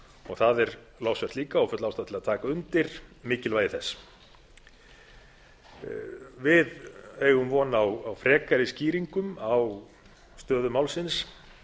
það er lofsvert líka og full ástæða til að taka undir mikilvægi þess við eigum von á frekari skýringum á stöðu málsins